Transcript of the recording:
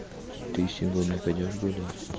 ты сегодня пойдёшь гулять